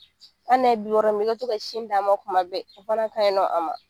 Hali n'a bɛ min i ka to ka sin d'a ma tuma bɛɛ o fana ka ɲi nɔ a ma